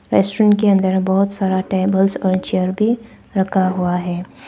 Restaurant के अंदर बहोत सारा टेबल्स और चेयर भी रखा हुआ है।